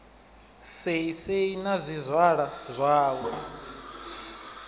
sei sei na zwizwala zwawe